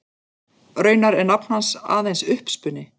Raunar er nafn hans aðeins uppspuni.